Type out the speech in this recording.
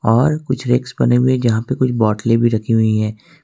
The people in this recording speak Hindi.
और कुछ रेक्स बने हुए यहां पे कुछ बॉटले भी रखी हुई हैं।